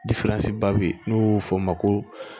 ba bɛ yen n'u b'o fɔ o ma ko